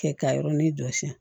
Kɛ ka yɔrɔnin dɔ siɲɛ